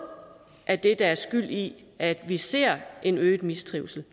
af det der er skyld i at vi ser en øget mistrivsel